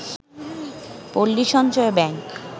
Palli Sanchay bank